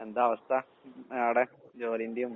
എന്താവസ്ഥ അവടെ ജോലീന്റെയും